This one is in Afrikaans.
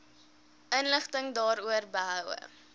inligting daaroor behoue